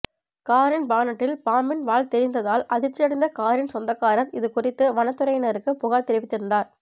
காரின் பானட்டில் பாம்பின் வால் தெரிந்ததால் அதிர்ச்சியடைந்த காரின் சொந்தக்காரர் இது குறித்து வனத்துறையினருக்கு புகார் தெரிவித்திருந்தார்